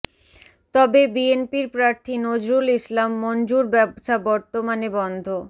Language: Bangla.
তবে বিএনপির প্রার্থী নজরুল ইসলাম মঞ্জুর ব্যবসা বর্তমানে বন্ধ